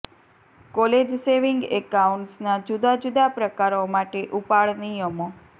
college saving એકાઉન્ટ્સના જુદા જુદા પ્રકારો માટે ઉપાડ નિયમો